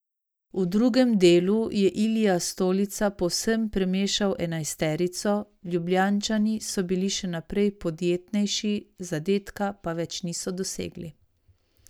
V drugem delu je Ilija Stolica povsem premešal enajsterico, Ljubljančani so bili še naprej podjetnejši, zadetka pa več niso dosegli.